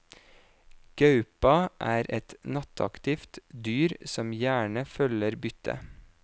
Gaupa er et nattaktivt dyr som gjerne følger byttet.